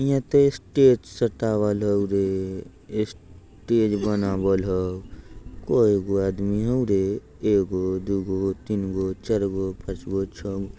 हियाँ त स्टेज सजा वाला हउ रे। स्टेज बनावल हउ। कइगो आदमी हउ रे एगो दुगो तीनगो चारगो पाँचगो छ--